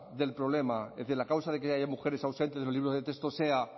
del problema es decir la causa de que haya mujeres ausentes en los libros de texto sea